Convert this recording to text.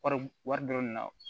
Wari wari don na